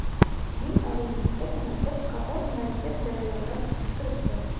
Sizning oldingizda yana bir qator murakkab jarayonlar kutib turibdi.